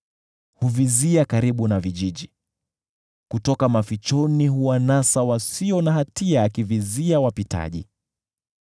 Huvizia karibu na vijiji; kutoka mafichoni huwanasa wasio na hatia, akivizia wapitaji.